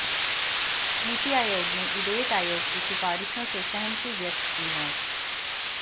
नीति आयोग ने इदेट आयोग की सिफारिशों से सहमति व्यक्त की है